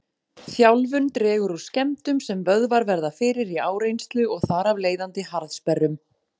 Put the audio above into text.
Þjálfun dregur úr skemmdum sem vöðvar verða fyrir í áreynslu og þar af leiðandi harðsperrum.